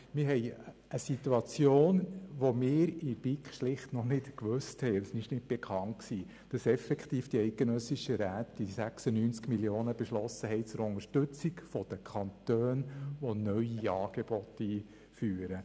Wir haben eine Situation, von der wir in der BiK noch nicht wussten und die noch nicht bekannt war, nämlich, dass die eidgenössischen Räte die 96 Mio. Franken effektiv beschlossen haben zur Unterstützung der Kantone, die neue Angebote einführen.